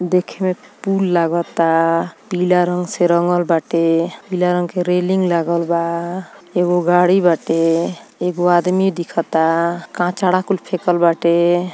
देखे में पुल लागाता पीला रंग से रंगल बाटे पीला रंग के रेलिंग लागल बा एगो गाड़ी बाटे एगो आदमी दिखाता कचड़ा कुल फेकल बाटे।